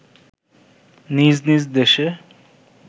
নিজ নিজ দেশে